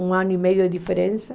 Um ano e meio de diferença.